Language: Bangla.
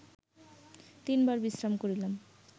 তিনবার বিশ্রাম করিলাম